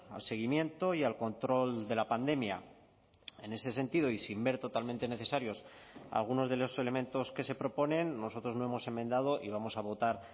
al seguimiento y al control de la pandemia en ese sentido y sin ver totalmente necesarios algunos de los elementos que se proponen nosotros no hemos enmendado y vamos a votar